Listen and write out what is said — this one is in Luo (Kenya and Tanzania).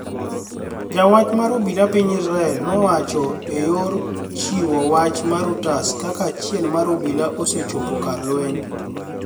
jawach mar obila piniy israel nowuocho eyor chiwo wach marReuters kaka achiel mar obila osechopo kar lweniy.